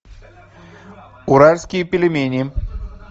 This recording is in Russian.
уральские пельмени